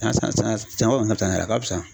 Ni y'a san saɲɔn yɛrɛ ka fisa a ka fisa.